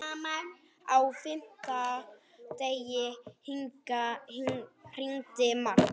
Á fimmta degi hringdi Mark.